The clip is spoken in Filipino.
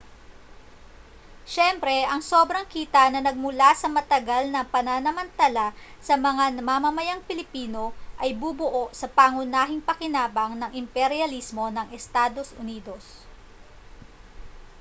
siyempre ang sobrang kita na nagmula sa matagal na pananamantala sa mga mamamayang pilipino ang bubuo sa pangunahing pakinabang ng imperyalismo ng estados unidos